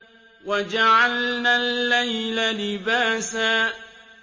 وَجَعَلْنَا اللَّيْلَ لِبَاسًا